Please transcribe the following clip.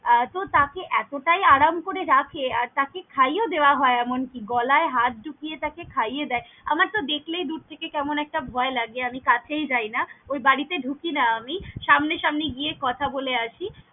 আহ এত তাকে এতটাই আরাম করে রাখে আর তাকে খাইয়েও দেওয়া হয় এমনকি গলায় হাত ঢুকিয়ে তাকে খাইয়ে দেয়, আমার তো দেখলেই দূর থেকে কেমন একটা ভয় লাগে আমি কাছেই যাই না ওই বাড়িতে ঢুকি না আমি সামনে সামনে গিয়ে কথা বলে আসি।